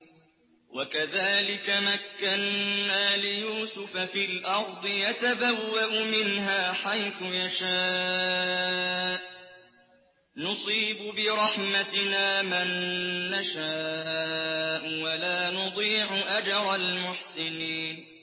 وَكَذَٰلِكَ مَكَّنَّا لِيُوسُفَ فِي الْأَرْضِ يَتَبَوَّأُ مِنْهَا حَيْثُ يَشَاءُ ۚ نُصِيبُ بِرَحْمَتِنَا مَن نَّشَاءُ ۖ وَلَا نُضِيعُ أَجْرَ الْمُحْسِنِينَ